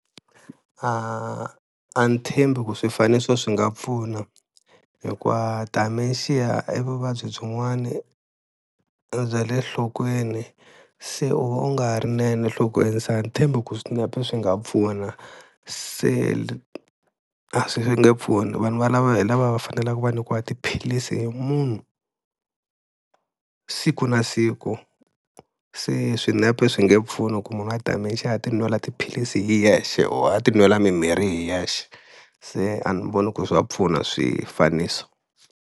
A a ni tshembi ku swifaniso swi nga pfuna hikuva dementia i vuvabyi byin'wana bya le nhlokweni, se u va u nga rinene nhlokweni se ani tshembi ku swinepe swi nga pfuna se a swi nge pfuni, vanhu valava hi lava va fanelaka va nyikiwa tiphilisi hi munhu siku na siku, se swinepe swi nge pfuni ku munhu a dementia a ti nwela tiphilisi hi yexe or a ti nwela mimirhi hi yexe, se a ni voni ku ri swi nga pfuna swifaniso.